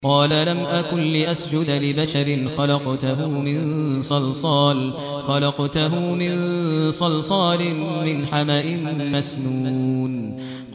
قَالَ لَمْ أَكُن لِّأَسْجُدَ لِبَشَرٍ خَلَقْتَهُ مِن صَلْصَالٍ مِّنْ حَمَإٍ مَّسْنُونٍ